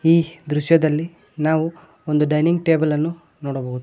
ಈ ದೃಶ್ಯದಲ್ಲಿ ನಾವು ಒಂದು ಡೈನಿಂಗ್ ಟೇಬಲ್ ಅನ್ನು ನೋಡಬಹುದು.